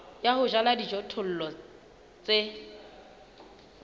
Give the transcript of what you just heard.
ya ho jala dijothollo tse